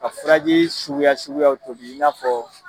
Ka falajɛ suguya suguyaw tobi i na fɔ